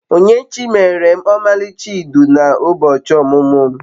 Onyinyechi meere m omalicha idu na ubochi omumu'm